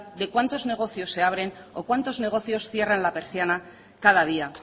de cuántos negocios se abren o cuantos negocios cierran la persiana cada día